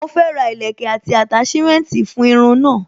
Mo fẹ́ ra ìlẹ́kẹ̀ àti attachment fún irun náà.